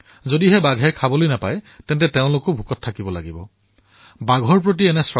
যদি বাঘে খাবলৈ নাপায় তেন্তে গাঁওবাসীয়েও নোখোৱাকৈ থাকিব এয়া তেওঁলোকৰ শ্ৰদ্ধা